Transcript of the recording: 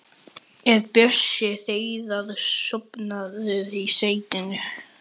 Er Bjössi Hreiðars sofnaður í settinu?